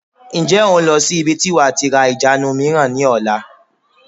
Ǹjẹ́ o n lọ sí ibi tí wàá tí ra ìjánu mìíràn ni ọ̀la?